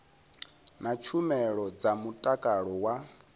na tshumelo dza mutakalo wa